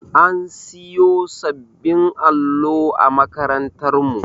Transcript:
An siyo sabbin allo a makarantar mu